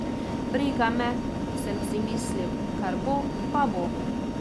Briga me, sem si mislil, kar bo, pa bo.